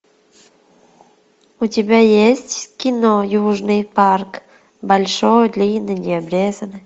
у тебя есть кино южный парк большой длинный необрезанный